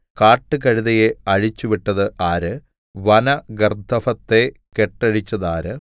കാട്ടുകഴുതയെ അഴിച്ചുവിട്ടത് ആര് വന ഗർദ്ദഭത്തെ കെട്ടഴിച്ചതാര്